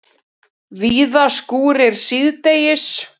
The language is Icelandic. Víða skúrir síðdegis